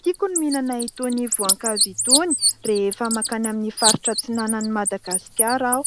Tiako ny mihinana itony voankazo itony rehefa mankany amin'ny faritra atsinanan'i Madagasikara aho.